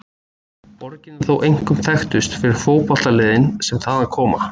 Borgin er þó einkum þekktust fyrir fótboltaliðin sem þaðan koma.